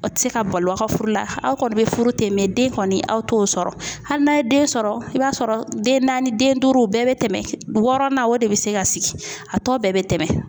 O tɛ se ka balo aw ka furu la, aw kɔni bɛ furu ten den kɔni aw t'o sɔrɔ hali n'a ye den sɔrɔ i b'a sɔrɔ den naani den duuru bɛɛ bɛ tɛmɛ wɔɔrɔ na o de bɛ se ka sigi a tɔ bɛɛ bɛ tɛmɛ.